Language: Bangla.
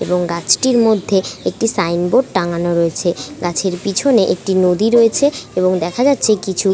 এবং গাছটির মধ্যে একটি সাইন বোর্ড টাঙানো রয়েছে গাছের পিছনে একটি নদী রয়েছে।